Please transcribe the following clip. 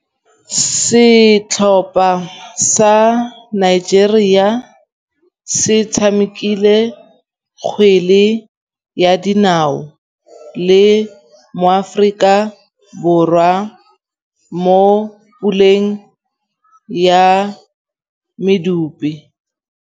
Setlhopha sa Nigeria se tshamekile kgwele ya dinaô le Aforika Borwa mo puleng ya medupe.